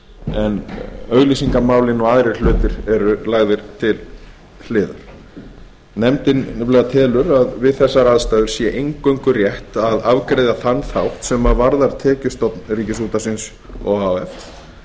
en auglýsingamálin og aðrir hlutir eru lagðir til hliðar nefndin telur að við þessar aðstæður sé eingöngu rétt að afgreiða þann þátt sem varðar tekjustofna ríkisútvarpsins o h f en í frumvarpinu